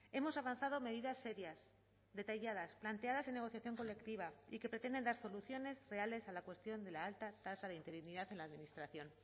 hemos avanzado medidas serias detalladas planteadas en negociación colectiva y que pretenden dar soluciones reales a la cuestión de la alta tasa de interinidad en la administración